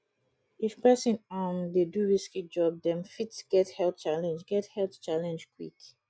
if person um dey do risky job dem fit get health challenge get health challenge quick